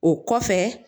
O kɔfɛ